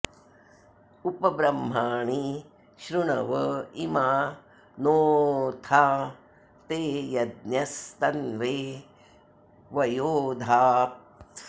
उप ब्रह्माणि शृणव इमा नोऽथा ते यज्ञस्तन्वे वयो धात्